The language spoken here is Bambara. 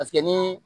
Paseke ni